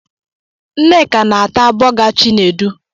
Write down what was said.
Nneka na-ata bọga Chinedu.